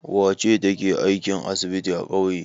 Wace ce take aikin asibiti a ƙauye?